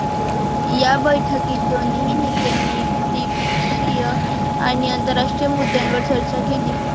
या बैठकीत दोन्ही नेत्यांनी द्विपक्षीय आणि आंतरराष्ट्रीय मुद्द्यांवर चर्चा केली.